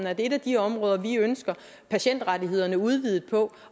at det er et af de områder som vi ønsker patientrettighederne udvidet på